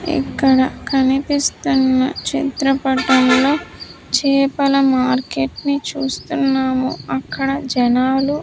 ఇక్కడ కనిపిస్తున్న చిత్రపటంలో చేపల మార్కెట్ ని చూస్తున్నాము అక్కడ జనాలు --